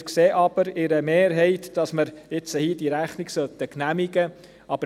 Wir sehen aber in einer Mehrheit, dass wir diese Rechnung hier genehmigen sollten.